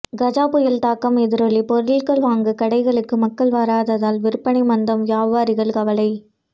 கஜா புயல் தாக்கம் எதிரொலி பொருட்கள் வாங்க கடைகளுக்கு மக்கள் வராததால் விற்பனை மந்தம் வியாபாரிகள் கவலை